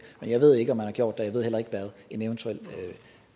jeg ved ikke om man har gjort det og jeg ved heller ikke hvad en eventuel